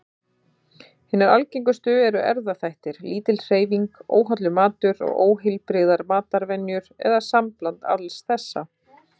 Hinar algengustu eru erfðaþættir, lítil hreyfing, óhollur matur og óheilbrigðar matarvenjur, eða sambland alls þessa.